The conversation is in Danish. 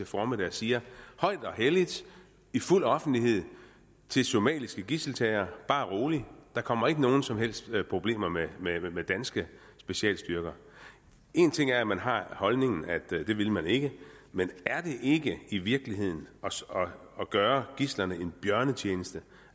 formiddag og siger højt og helligt i fuld offentlighed til somaliske gidseltagere bare rolig der kommer ikke nogen som helst problemer med danske specialstyrker en ting er at man har holdning at det vil man ikke men er det ikke i virkeligheden at gøre gidslerne en bjørnetjeneste